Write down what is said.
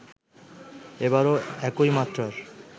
এবারও একই মাত্রার